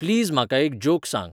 please म्हाका एक joke सांग